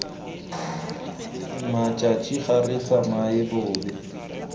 mmatšhatšhi ga re tsamaye bobe